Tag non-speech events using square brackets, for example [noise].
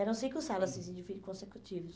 Eram cinco salas assim [unintelligible] consecutivas.